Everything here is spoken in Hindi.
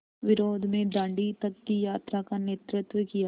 विरोध में दाँडी तक की यात्रा का नेतृत्व किया